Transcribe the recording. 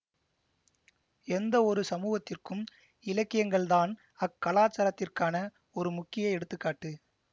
எந்த ஒரு சமூகத்திற்கும் இலக்கியங்கள்தான் அக்கலாசாரத்திற்கான ஒரு முக்கிய எடுத்து காட்டு